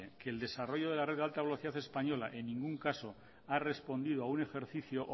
el desarrollo de la red de alta velocidad española en ningún caso ha respondido a un ejercicio